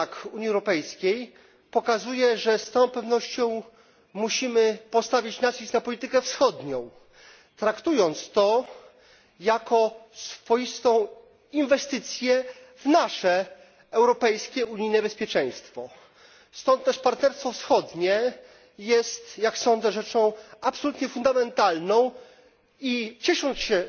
Unii Europejskiej, pokazuje, że z całą pewnością musimy położyć nacisk na politykę wschodnią, traktując to jako swoistą inwestycję w nasze europejskie, unijne bezpieczeństwo. Stąd też partnerstwo wschodnie jest, jak sądzę, rzeczą absolutnie fundamentalną i ciesząc się,